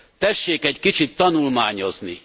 Tessék egy kicsit tanulmányozni!